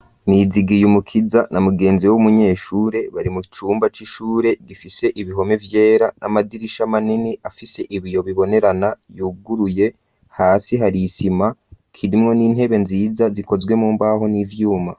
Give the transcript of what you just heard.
Nizigiyumukiza na mugenzi w'umunyeshure bari mu cumba c'ishure gifise ibihome vyera n'amadirisha manini afise ibiyo bibonerana yuguruye, hasi hari isima, kirimwo n'intebe nziza zikozwe mu mbaho n'ivyuma.